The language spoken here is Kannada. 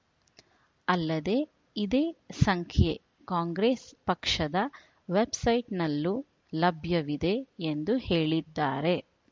ಅಲ್ಲದೆ ಇದೇ ಸಂಖ್ಯೆ ಕಾಂಗ್ರೆಸ್‌ ಪಕ್ಷದ ವೆಬ್‌ಸೈಟ್‌ನಲ್ಲೂ ಲಭ್ಯವಿದೆ ಎಂದು ಹೇಳಿದ್ದಾರೆ